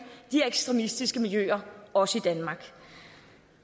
de her ekstremistiske miljøer også i danmark